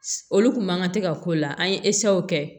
Olu kun man kan tɛ ka k'o la an ye kɛ